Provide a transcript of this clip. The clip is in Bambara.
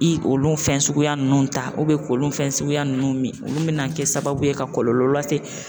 I olu fɛn suguya nunnu ta k'olu fɛn suguya nunnu min olu bɛna kɛ sababu ye ka kɔlɔlɔ lase